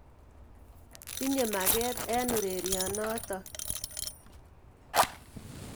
Tinye maket eng' ureryonotok.